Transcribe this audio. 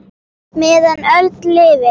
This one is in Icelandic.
meðan öld lifir